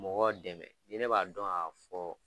Mɔgɔw dɛmɛ ni ne b'a dɔn ga fɔ